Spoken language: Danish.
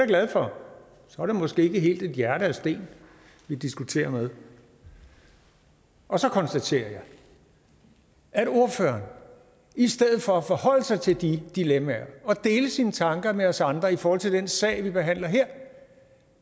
glad for så er det måske ikke helt et hjerte af sten vi diskuterer med og så konstaterer jeg at ordføreren i stedet for at forholde sig til de dilemmaer og dele sine tanker med os andre i forhold til den sag vi behandler her